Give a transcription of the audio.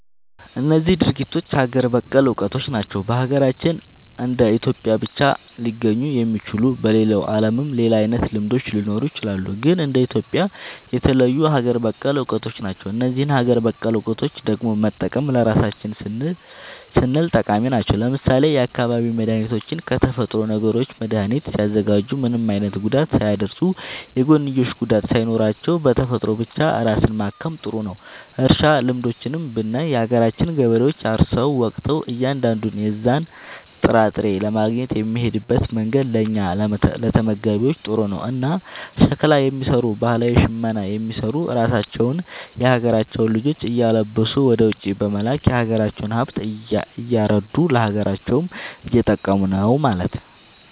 እነዚህ ድርጊቶች ሀገር በቀል እውቀቶች ናቸው። በሀገራችን እንደ ኢትዮጵያ ብቻ ሊገኙ የሚችሉ። በሌላው ዓለምም ሌላ አይነት ልምዶች ሊኖሩ ይችላሉ። ግን እንደ ኢትዮጵያ የተለዩ ሀገር በቀል እውቀቶች ናቸው። እነዚህን ሀገር በቀል እውቀቶች ደግሞ መጠበቅ ለራሳችን ስንል ጠቃሚ ናቸው። ለምሳሌ የአካባቢ መድኃኒቶችን ከተፈጥሮዊ ነገሮች መድኃኒት ሲያዘጋጁ ምንም አይነት ጉዳት ሳያደርሱ፣ የጎንዮሽ ጉዳት ሳይኖራቸው፣ በተፈጥሮ ብቻ ራስን ማከም ጥሩ ነዉ። እርሻ ልምዶችንም ብናይ የሀገራችን ገበሬዎች አርሰው ወቅተው እያንዳንዱን የዛን ጥራጥሬ ለማግኘት የሚሄድበት መንገድ ለእኛ ለተመጋቢዎች ጥሩ ነው። እና ሸክላ የሚሰሩ ባህላዊ ሽመና የሚሰሩ ራሳቸውን የሀገራቸውን ልጆች እያለበሱ ወደ ውጪ በመላክ የሀገራቸውን ሃብት እያረዱ ለሀገራቸውም እየጠቀሙ ነው ማለት።